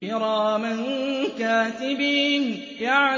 كِرَامًا كَاتِبِينَ